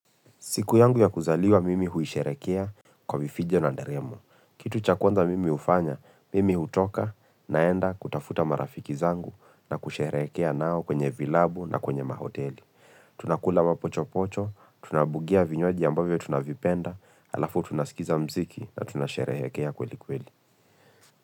Siku yangu ya kuzaliwa mimi huisherehekea kwa vifijo na nderemo. Kitu cha kwanza mimi hufanya, mimi hutoka naenda kutafuta marafiki zangu na kusherehekea nao kwenye vilabu na kwenye mahoteli. Tunakula mapochopocho, tunabugia vinywaji ambavyo tunavipenda, alafu tunasikiza mziki na tunasherehekea kweli kweli.